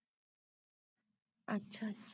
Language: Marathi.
अच्छा अच्छा.